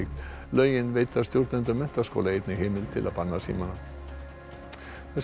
lögin veita stjórnendum menntaskóla einnig heimild til að banna símana þessum